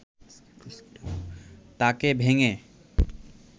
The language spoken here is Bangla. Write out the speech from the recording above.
তাকে ভেঙে